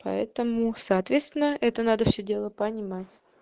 поэтому соответственно это надо все дело понимать